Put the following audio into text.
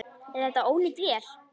Er þetta ónýt vél?